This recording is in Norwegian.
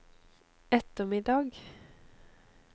ettermiddag